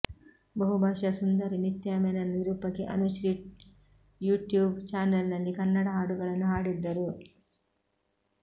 ಬಹುಭಾಷಾ ಸುಂದರಿ ನಿತ್ಯಾ ಮೆನನ್ ನಿರೂಪಕಿ ಅನುಶ್ರೀ ಯುಟ್ಯೂಬ್ ಚಾನೆಲ್ನಲ್ಲಿ ಕನ್ನಡ ಹಾಡುಗಳನ್ನು ಹಾಡಿದ್ದರು